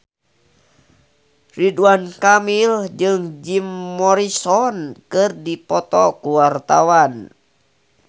Ridwan Kamil jeung Jim Morrison keur dipoto ku wartawan